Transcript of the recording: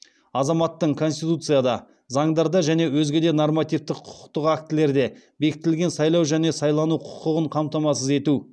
азаматтың конституцияда заңдарда және өзге де нормативтік құқықтық актілерде бекітілген сайлау және сайлану құқығын қамтамасыз ету